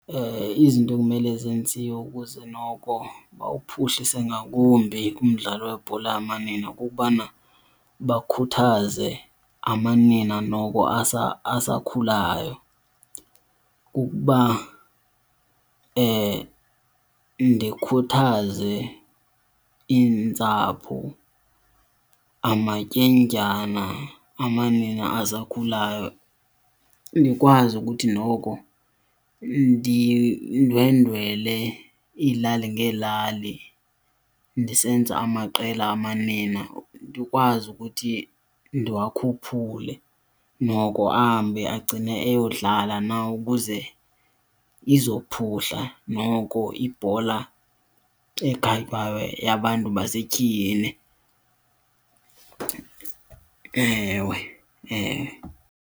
Izinto ekumele zenziwe ukuze noko bawuphuhlise ngakumbi ngumdlalo webhola yamanina kukubana bakhuthaze amanina noko asakhulayo. Ukuba ndikhuthaze iintsapho, amatyendyana amanina asakhulayo, ndikwazi ukuthi noko ndindwendwele iilali ngeelali ndisenza amaqela amanina, ndikwazi ukuthi ndiwakhuphule noko ahambe agcine eyodlala nawo ukuze izophuhla noko ibhola ekhatywayo yabantu basetyhini ewe, ewe.